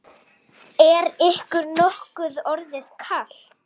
Er ykkur nokkuð orðið kalt?